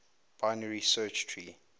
binary search tree